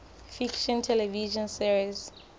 fiction television series